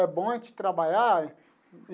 É bom a gente trabalhar.